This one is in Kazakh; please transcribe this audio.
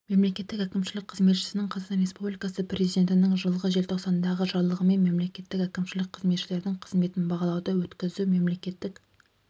мемлекеттік әкімшілік қызметшісінің қазақстан республикасы президентінің жылғы желтоқсандағы жарлығымен мемлекеттік әкімшілік қызметшілердің қызметін бағалауды өткізу мемлекеттік